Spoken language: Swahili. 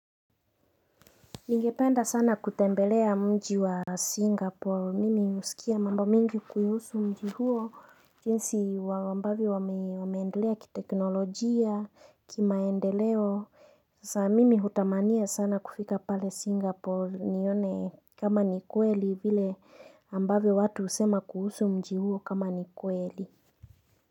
Ningependa sana kutembelea mji wa Singapore, mimi husikia mambo mingi kuhusu mji huo, jinsi wa ambavyo wameendelea kiteknolojia, kimaendeleo Sasa mimi hutamania sana kufika pale Singapore nione kama ni kweli vile ambavyo watu husema kuhusu mji huo kama ni kweli.